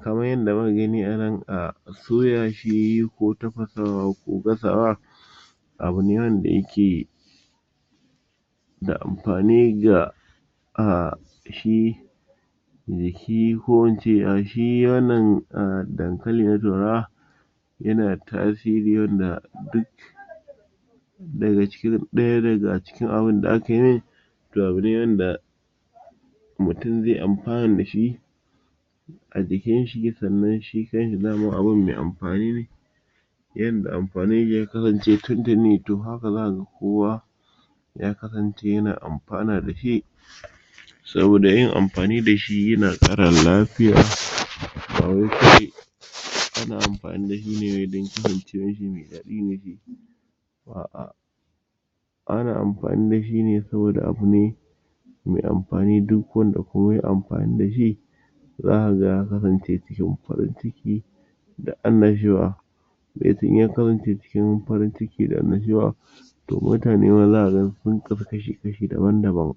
kamar yadda muka gani anan ah soya shi ko tafasawa ko gasawa abune wanda yake da amfani ga ah shi shi ko ince shi wannan dankali na turawa yanada tasiri wanda duk daga ciki ɗaya daga cikin abun da aka mai to abune wanda mutum ze amfana dashi ajikin shi sannan shi kan shi samun abun me amfani ne yanda amfanini shi ya kasance tintinni to haka zakaga kowa ya kasance yana amfana dashi saboda yin amfani dashi yana ƙara lafiya ana amfani dashi ne wai dan kasancewar shi me daɗi ne shi a'a ana amfani dashi ne saboda abune me amfani duk wanda kuma yay amfani dashi zaka ga ya kasan ce cikin farin ciki da annashuwa in ya kasance cikin farin ciki da annashuwa to mutane ma zaka ga sun kasa shi kashi daban daban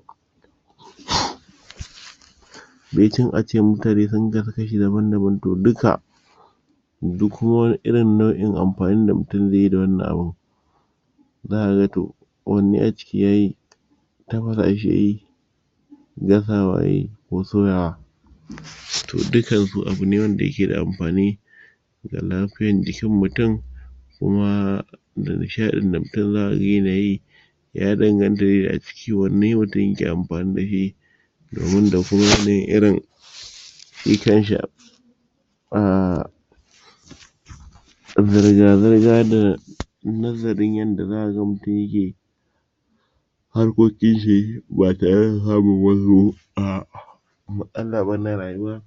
baicin ace mutane sun kasa shi kashi daban daban to duka duk wani irin nau'in amfani da mutum zaiyi da wannan abun zaka ga to wanne a ciki yayi tafasa shi yayi gasawa yayi ko soyawa to dukkan su abune wanda yake da amfani da lafiyar jikin mutum kuma da nishaɗin da mutum zakaga yanayi ya danganta da aciki wanne mutum yake amfani dashi domin da ko wanne irin shi kanshi ah zirga zirga da nazarin yadda zaka ga mutum yake yi harkokin shi ba tare da samun wasu matsala ba na rayuwa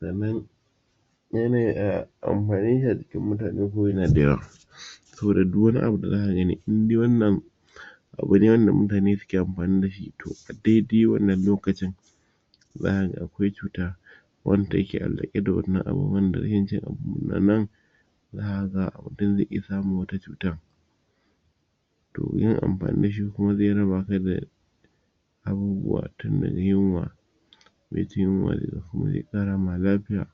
sannan yanayin amfaninshi a jikin mutane kuma yanada yawa saboda duk wani abu da zaka gani indai wannan abune wanda mutane suke amfani dashi to a daidai wannan lokacin zaka ga akwai cuta wanda take allaƙe da wannan abun wanda in yaci abunnan mutum ze iya samun wata cutar domin yin amfani dashi kuma ze raba abubuwa tin daga yunwa baicin yunwa sannan kuma ze ƙara ma lafiya